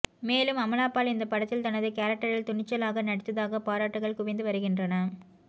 மேலும் அமலாபால் இந்த படத்தில் தனது கேரக்டரில் துணிச்சலாக நடித்ததாக பாராட்டுகள் குவிந்து வருகின்றன